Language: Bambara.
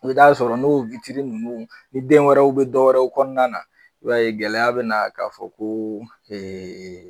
I bɛ t'a sɔrɔ n'o ninnu ni den wɛrɛw bɛ dɔwɛrɛw kɔnɔna na i b'a gɛlɛya bɛ na k'a fɔ ko ɛɛ